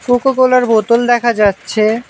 কোকোকোলার বোতল দেখা যাচ্ছে।